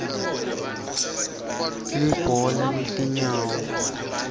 libhola letinyawo